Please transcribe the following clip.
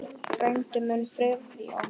Frændi minn, Friðjón